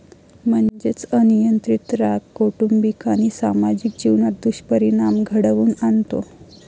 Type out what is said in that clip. म्हणजेच अनियंत्रित राग, कौटुंबिक आणि सामाजिक जीवनात दुष्परिणाम घडवून आणतो.